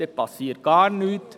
Dann passiert gar nichts.